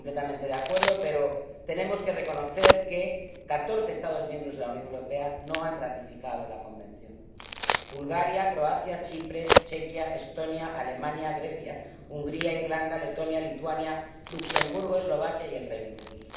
Estoy completamente de acuerdo, pero tenemos que reconocer que catorce Estados miembros de la Unión Europea no han ratificado el Convenio Bulgaria, Croacia, Chipre, Chequia, Estonia, Alemania, Grecia, Hungría, Irlanda, Letonia, Lituania, Luxemburgo, Eslovaquia y el Reino Unido.